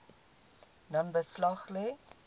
dan beslag lê